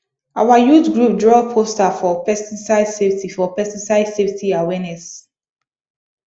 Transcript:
our youth group draw poster for pesticide safety for pesticide safety awareness